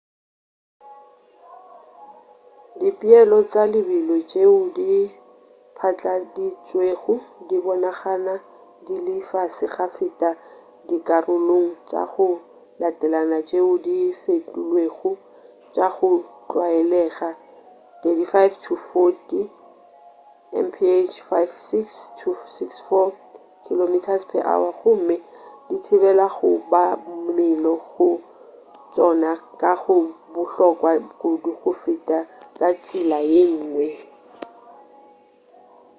dipeelo tša lebelo tšeo di patladitšwego di bonagana di le fase go feta dikarolong tša go latelana tšeo di fetilwego — tša go tlwaelega 35-40 mph 56-64 km/h — gomme di thibela kobamelo go tšona ka go bohlokwa kudu go feta ka tsela yengwe